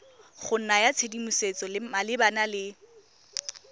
go naya tshedimosetso malebana le